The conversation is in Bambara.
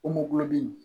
O mɔbili